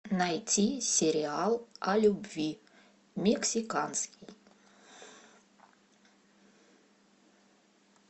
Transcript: найти сериал о любви мексиканский